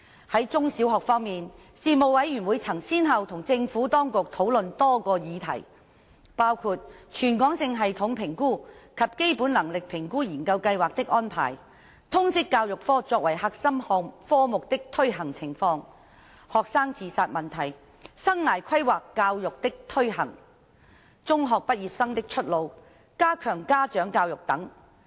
在中小學方面，事務委員會曾先後與政府當局討論多個議題，包括全港性系統評估及基本能力評估研究計劃的安排、通識教育科作為核心科目的推行情況、學生自殺問題、生涯規劃教育的推行、中學畢業生的出路、加強家長教育等。